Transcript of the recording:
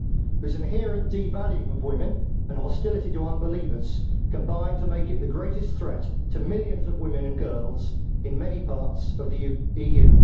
Islam's inherent devaluing of women and hostility to unbelievers combine to make it the greatest threat to millions of women and girls in many parts of the EU.